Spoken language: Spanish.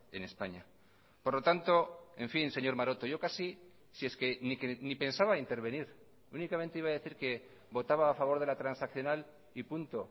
en españa por lo tanto en fin señor maroto yo casi si es que ni pensaba intervenir únicamente iba a decir que votaba a favor de la transaccional y punto